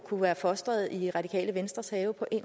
kunne være fostret i radikales venstres have på en